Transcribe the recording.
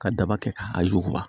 Ka daba kɛ ka a yiruba